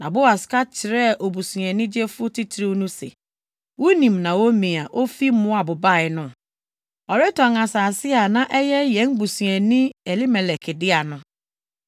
Na Boas ka kyerɛɛ obusuani gyefo titiriw no se, “Wunim Naomi a ofi Moab bae no. Ɔretɔn asase a na ɛyɛ yɛn busuani Elimelek dea no.